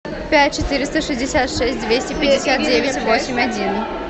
пять четыреста шестьдесят шесть двести пятьдесят девять восемь один